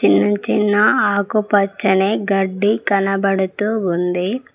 నించున్న ఆకుపచ్చని గడ్డి కనబడుతూ ఉంది.